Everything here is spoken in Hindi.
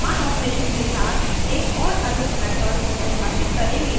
हम समान operation के साथ एक और अधिक method परिभाषित करेंगे